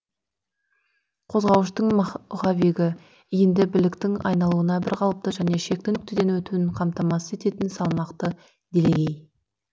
қозғауыштың маховигі иінді біліктің айналуын бір қалыпты және шекті нүктеден өтуін қамтамасыз ететін салмақты делегей